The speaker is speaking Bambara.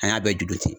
An y'a bɛɛ juru ci